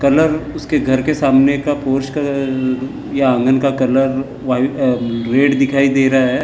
Colour उसके घर के सामने का या आंगन का कलर व्हाइट अ रेड दिखाई दे रहा है।